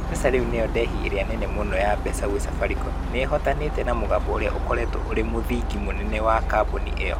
MPesa rĩu nĩyo ndehi ĩrĩa nene muno ya mbeca gũĩ Safaricom. Nĩ ĩhootanĩte na mũgambo ũrĩa ũkoretwo ũrĩ mũthingi mũnene wa kambuni ĩyo.